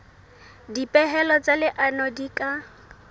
dipehelo tsa leano di ka